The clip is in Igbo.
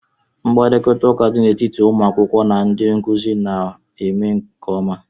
Mkparịta ụka dị n'etiti ụmụ akwụkwọ na ndị nkuzi na-eme nke ọma